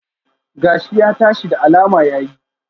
Gashi ya tashi, da alama ya yi